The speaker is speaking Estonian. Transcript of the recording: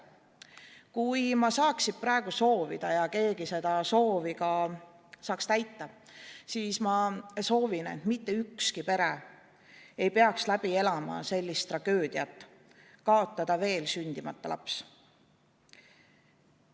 Kui ma saaksin praegu soovida ja keegi seda soovi saaks ka täita, siis ma sooviksin, et mitte ükski pere ei peaks läbi elama sellist tragöödiat: kaotada veel sündimata laps.